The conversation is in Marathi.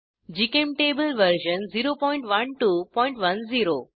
GChemTable version 01210